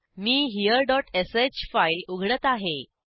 मी हेरे डॉट श फाईल उघडत आहे